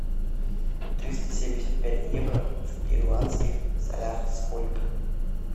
триста семьдесят пять евро в перуанских солях сколько